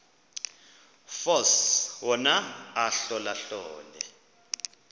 force wona ahlolahlole